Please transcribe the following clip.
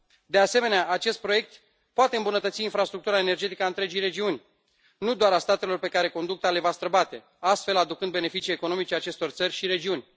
De asemenea, acest proiect poate îmbunătăți infrastructura energetică a întregii regiuni, nu doar a statelor pe care conducta le va străbate, aducând astfel beneficii economice acestor țări și regiuni.